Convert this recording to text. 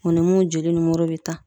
O ni mun joli nimoro be ta.